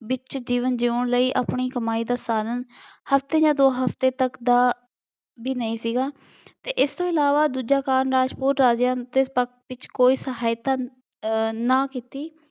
ਵਿੱਚ ਜੀਵਨ ਜਿਉਣ ਲਈ ਆਪਣੀ ਕਮਾਈ ਦਾ ਸਾਧਨ ਹਫਤੇ ਜਾਂ ਦੋ ਹਫਤੇ ਤੱਕ ਦਾ ਵੀ ਨਹੀਂ ਸੀਗਾ ਅਤੇ ਇਸ ਤੋਂ ਇਲਾਵਾ ਦੂਜਾ ਕਾਰਨ ਰਾਜਪੂਤ ਰਾਜਿਆਂ ਦੇ ਸਖਤ ਵਿੱਚ ਕੋਈ ਸਹਾਇਤਾ ਅਹ ਨਾ ਕੀਤੀ।